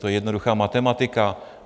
To je jednoduchá matematika.